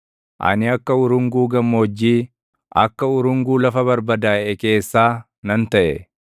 Ani akka urunguu gammoojjii, akka urunguu lafa barbadaaʼe keessaa nan taʼe.